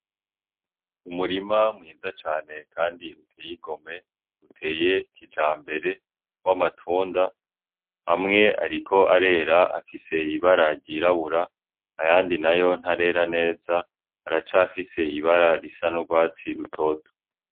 Umurima mwiza cane kandi uteye igomwe uteye kijambere w'amatunda amwe ariko arera afise ibara ryirabura ayandi nayo ntarera neza aracafise ibara risa n'urwatsi rutoto.